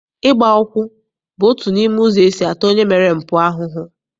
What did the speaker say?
Ịgba ụkwụ bụ otu n'ime ụzọ esi ata onye mere mpụ ahụhụ.